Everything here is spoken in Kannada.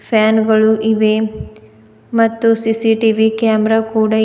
ಫ್ಯಾನ್ ಇವೆ ಮತ್ತು ಸಿ_ಸಿ_ಟಿ_ವಿ ಕ್ಯಾಮೆರಾ ಕೂಡ--